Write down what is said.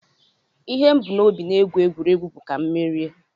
Ihe m bu n'obi egwu egwuregwu bụ ka mụ merie